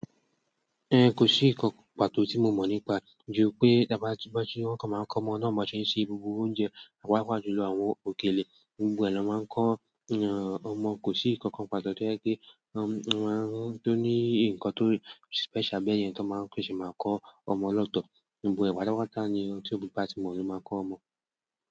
Ko sii nǹkan pàtó ti mo mọ nípa e, ju pé ti a bá ti fé ṣe e wọn kan maa n kọ ọmọ náà bi wón ṣe ṣe gbogbo oúnjẹ paapaa jùlọ àwọn òkèlè gbogbo ẹ ni wón maa n ko ọmọ kò sí nǹkankan pàtó tí ó jẹ́ pé tó ní nǹkan tó special bẹ́ẹ̀ yẹn tó ṣii máa kọ́ ọmọ lọ́tọ̀. Gbogbo ẹ̀ pátápátá ni ohun tí òbí bá ti mọ́ ló máa kọ́ ọmọ.